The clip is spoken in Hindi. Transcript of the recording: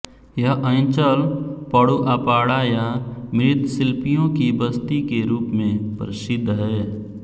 यह अञ्चल पटुआपाड़ा या मृत्शिल्पियों की बस्ती के रूप में प्रसिद्ध है